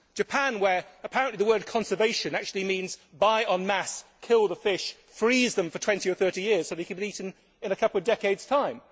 Japan, where apparently the word conservation' actually means buy en masse, kill the fish, and freeze them for 20 or 30 years so that they can be eaten in a couple of decades time.